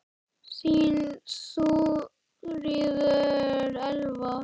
Þín Þuríður Elva.